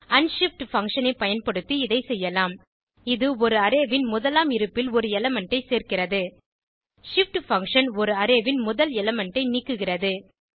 unshift function ஐ பயன்படுத்தி இதை செய்யலாம் இது ஒரு அரே ன் முதலாம் இருப்பில் ஒரு எலிமெண்ட் ஐ சேர்க்கிறது shift பங்ஷன் ஒரு அரே ன் முதல் எலிமெண்ட் ஐ நீக்குகிறது